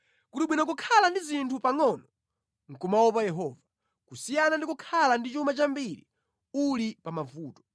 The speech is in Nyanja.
Kuli bwino kukhala ndi zinthu pangʼono nʼkumaopa Yehova, kusiyana ndi kukhala ndi chuma chambiri uli pamavuto.